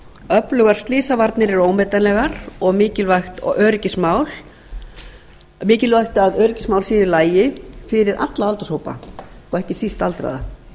öflugar slysavarnir eru ómetanlegar og mikilvægt að öryggismál séu í lagi fyrir alla aldurshópa og ekki síst aldraða